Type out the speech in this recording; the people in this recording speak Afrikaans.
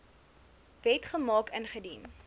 wet gemaak ingedien